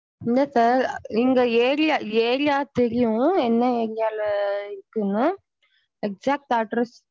இல்ல sir நீங்க area area தெரியும் என்ன area ல இருக்குன்னு exact address.